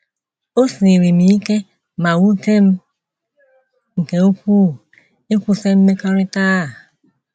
O siiri m ike ma wute m nke ukwuu ịkwụsị mmekọrịta a.